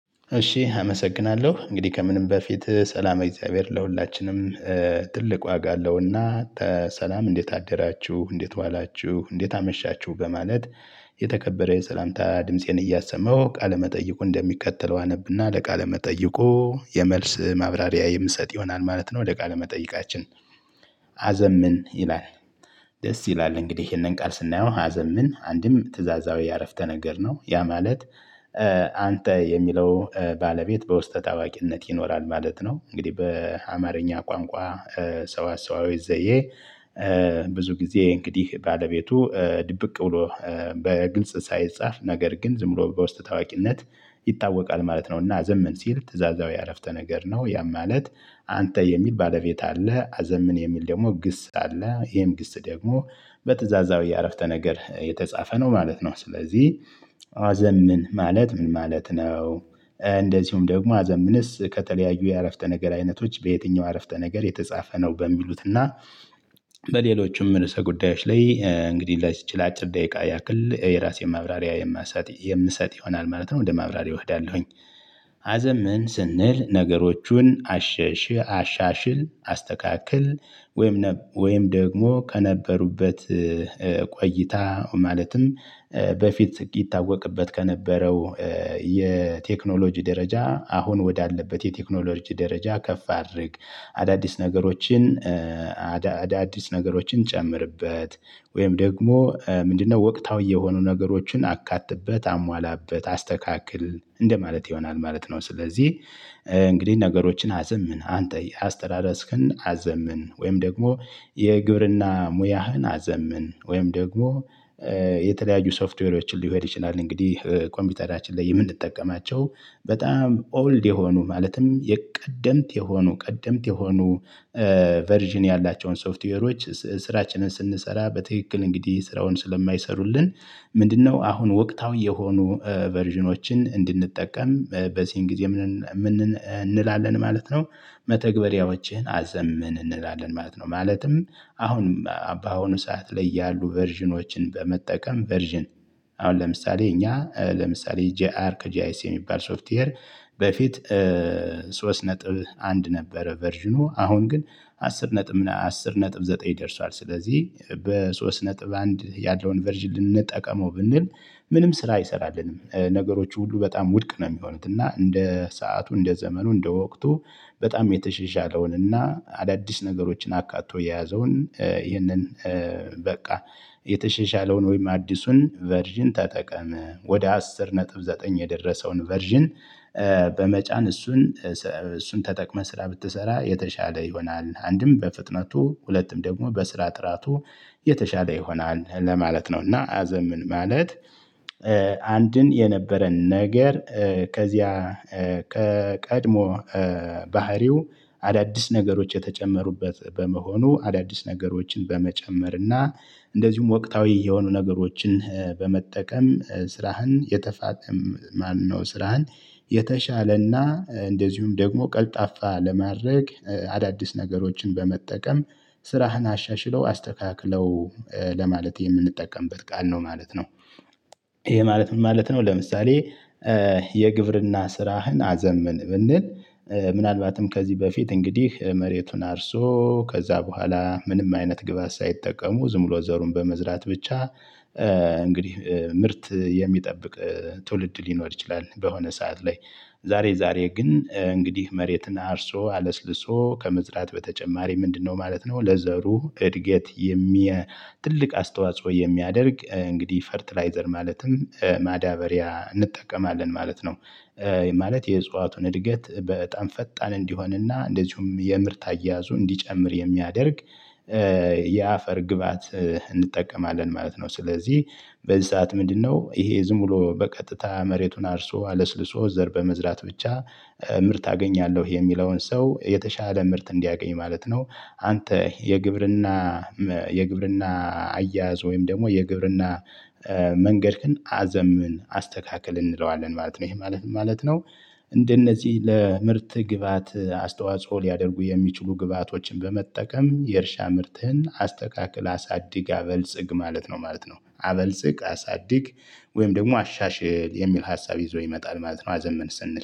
እሺ አመሰግናለሁ እንግዲህ ከምንም በፊት ሰላም የእግዚአብሔር ለሁላችንም። ትልቅ ዋጋ አለውና ተ ሰላም እንዴት አደራችሁ እንዴት ዋላችሁ እንዴት አመሻችሁ በማለት። የተከበረ የሰላምታ ድምፄን እያሰመው ቃለመጠይቁ እንደሚከተለው አነብና ለቃለመጠይቁ የመልስ ማብራሪያ የምሰጥ ይሆናል ማለት ነው። ወደ ቃል መጠይቃችን አዘምን ይላል። ደስ ይላል እንግዲህ ይሄንን ቃል ስናየው ምን አንድም ትእዛዛዊ ዓረፍተ ነገር ነው? ያ ማለት። አንተ የሚለው ባለቤት በውስጠ ታዋቂነት ይኖራል ማለት ነው። እንግዲህ በአማርኛ ቋንቋ። ሰዋሰወዊ ዘዬ። ብዙ ጊዜ እንግዲህ ባለቤቱ ድብቅ ብሎ። በግልጽ ሳይጻፍ ነገር ግን ዝም ብሎ በውስጥ ታዋቂነት ይታወቃል ማለት ነውና። አዘመን ሲል ትእዛዛዊ አረፍተ ነገር ነው ያም ማለት። አንተ የሚል ባለቤት አለ። አዘምን የሚል ደግሞ ግስ አለ። ይሄም ግስ ደግሞ በትእዛዛው የአረፍተ ነገር የተጻፈ ነው ማለት ነው። ስለዚህ አዘምን ማለት ምን ማለት ነው? እንደዚሁም ደግሞ አዘምንስ ከተለያዩ የአረፍተ ነገር አይነቶች በየትኛው አረፍተ ነገር የተጻፈ ነው በሚሉት እና? በሌሎችም እርሰ ጉዳዮች ላይ እንግዲህ ላይዚች ለአጭር ደቂቃ ያክል የራሴን ማብራሪያ የምሰጥ ይሆናል ማለት ነው። ወደ ማብራሪያ እሄዳለሁኝ። አዘምን ስንል ነገሮቹን አሻሽል አስተካክል ወይም ወይም ደግሞ ከነበሩበት ቆይታ ማለትም በፊት ይታወቅበት ከነበረው የቴክኖሎጂ ደረጃ አሁን ወዳለበት የቴክኖሎጂ ደረጃ ከፍ አድርግ። አዳዲስ ነገሮችን አዳዲስ ነገሮችን ጨምርበት። ወይም ደግሞ ምንድነው ወቅታዊ የሆኑ ነገሮችን አካትበት አሟላበት አስተካክል እንደማለት ይሆናል ማለት ነው። ስለዚህ እንግዲህ ነገሮችን አዘምን አንተ አስተዳደስክን አዘምን ወይም ደግሞ የግብርና ሙያህን አዘምን ወይም ደግሞ የተለያዩ ሶፍትዌሮችን ሊሆን ይችላል። እንግዲህ ኮምፒውተራችን ላይ የምንጠቀማቸው በጣም ኦልድ የሆኑ ማለትም የቀደምት የሆኑ ቀደምት የሆኑ ቨርዥን ያላቸውን ሶፍትዌሮች ስራችንን ስንሰራ በትክክል እንግዲህ ስራውን ስለማይሰሩልን ምንድነው አሁን ወቅታዊ የሆኑ ቨርዥኖችን እንድንጠቀም በዚህን ጊዜ እንላለን ማለት ነው። መተግበሪያዎችን አዘምን እንላለን ማለት ነው። ማለትም አሁንም በአሁኑ ሰዓት ላይ ያሉ ቨርዥኖችን በመጠቀም ቨርዥን አሁን ለምሳሌ እኛ ለምሳሌ ጂአር ከጂአይስ የሚባል ሶፍትዌር። በፊት ሶስት ነጥብ አንድ ነበረ ቨርዥኑ አሁን ግን አስር ነጥብ አስር ነጥብ ዘጠኝ ደርሷል። ስለዚህ በሶስት ነጥብ አንድ ያለውን ቨርዥን ልንጠቀመው ብንል ምንም ስራ አይሰራልንም ነገሮች ሁሉ በጣም ውድቅ ነው የሚሆኑት እና እንደ ሰዓቱ እንደ ዘመኑ እንደ ወቅቱ። በጣም የተሻሻለውን እና አዳዲስ ነገሮችን አካቶ የያዘውን ይህንን በቃ። የተሸሻለውን ወይም አዲሱን ቨርዥን ተጠቀመ ወደ አስር ነጥብ ዘጠኝ የደረሰውን ቨርዥን። በመጫን እሱን እሱን ተጠቅመህ ስራ ብትሰራ የተሻለ ይሆናል አንድም በፍጥነቱ ሁለትም ደግሞ በስራ ጥራቱ የተሻለ ይሆናል ለማለት ነው። እና አዘምን ማለት። አንድን የነበረን ነገር ከዚያ ቀጥሞ ባህሪው አዳዲስ ነገሮች የተጨመሩበት በመሆኑ አዳዲስ ነገሮችን በመጨመር እና እንደዚሁም ወቅታዊ የሆኑ ነገሮችን በመጠቀም ስራህን የተፋጠም ማነው ስራህን የተሻለና እንደዚሁም ደግሞ ቀልጣፋ ለማድረግ አዳዲስ ነገሮችን በመጠቀም ስራህን አሻሽለው አስተካክለው ለማለት የምንጠቀምበት ቃል ነው ማለት ነው። ይሄ ማለት ምን ማለት ነው? ለምሳሌ የግብርና ስራህን አዘምን ብንል። ምናልባትም ከዚህ በፊት እንግዲህ መሬቱን አርሶ ከዛ በኋላ ምንም አይነት ግብአት ሳይጠቀሙ ዝም ብሎ ዘሩን በመዝራት ብቻ እንግዲህ ምርት የሚጠብቅ ትውልድ ሊኖር ይችላል። በሆነ ሰዓት ላይ። ዛሬ ዛሬ ግን እንግዲህ መሬትን አርሶ አለስልሶ ከመዝራት በተጨማሪ ምንድነው ማለት ነው ለዘሩ እድገት የሚያ ትልቅ አስተዋጽኦ የሚያደርግ እንግዲህ ፈርትላይዘር ማለትም ማዳበሪያ እንጠቀማለን ማለት ነው። ማለት የእጽዋቱን እድገት በጣም ፈጣን እንዲሆንና እንደዚሁም የምርት አያያዙ እንዲጨምር የሚያደርግ የአፈር ግባዓት እንጠቀማለን ማለት ነው። ስለዚህ በዚህ ሰዓት ምንድነው ይሄ ዝም ብሎ በቀጥታ መሬቱን አርሶ አለስልሶ ዘር በመዝራት ብቻ ምርት አገኛለሁ የሚለውን ሰው የተሻለ ምርት እንዲያገኝ ኝማለት ነው። አንተ የግብርና የግብርና አያያዝ ወይም ደግሞ የግብርና መንገድክን አዘምን አስተካክል እንለዋለን ማለት ነው። ይሄ ማለት ምን ማለት ነው? እንደነዚህ ለምርት ግብአት አስተዋጽኦ ሊያደርጉ የሚችሉ ግብአቶችን በመጠቀም የእርሻ ምርትን አስተካክል አሳድግ አበልጽግ ማለት ነው ማለት ነው። አበልጽግ አሳድግ። ወይም ደግሞ አሻሽል የሚል ሀሳብ ይዞ ይመጣል ማለት ነው። አዘምን ስንል